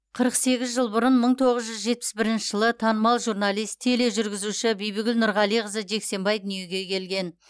қырық сегіз жыл бұрын мың тоғыз жүз жетпіс бірінші жылы танымал журналист тележүргізуші бибігүл нұрғалиқызы жексенбай дүниеге келген